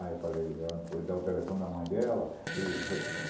Aí eu falei... Ela não foi dar o telefone da mãe dela? E já